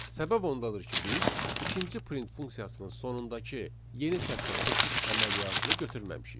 Səbəb ondadır ki, biz ikinci print funksiyasının sonundakı yeni sətrə keçid əməliyyatını götürməmişik.